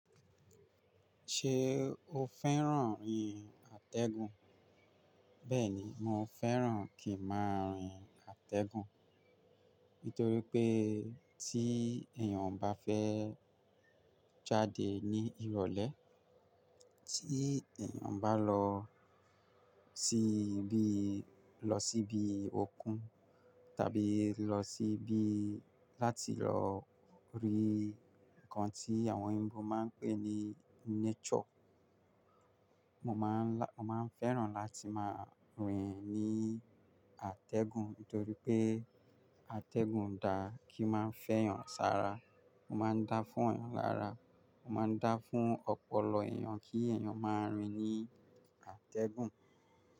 Ṣé o fẹ́ràn rìn àtẹ̀gùn? Bẹ́ẹ̀ni, mo fẹ́ràn kí máa rìn àtẹ̀gùn. Nítorí pé tí èèyàn bá fẹ́ jáde ní ìrọ̀lẹ́, tí èèyàn bá lọ sí ibi, lọ síbi òkun tàbí lọ sí ibi láti lọ rí ǹkan tí àwọn òyìnbó máa ń pè ní nature, mo máa ń lá-- mo máa ń fẹ́ràn láti máa rìn ní àtẹ̀gùn. Nítorí pé àtẹ̀gùn dà kí máa ń fẹ́ èèyàn sára, ó máa ń dá fún èèyàn lára, ó máa ń dá fún ọpọlọ èèyàn kí èèyàn máa rìn ní àtẹ̀gùn.